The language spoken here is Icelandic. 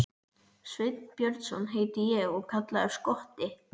Sveinn Björnsson heiti ég og kallaður Skotti.